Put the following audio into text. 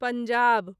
Punjab